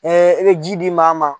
e bɛ ji di maa ma.